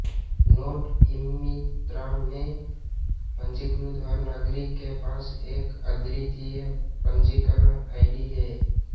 note eMitra में पंजीकृत हर नागरिक के पास एक अद्वितीय पंजीकरण आईडी है